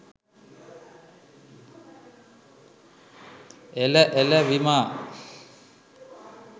එල එල විමා